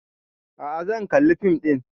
A'a zan kalla fim ɗin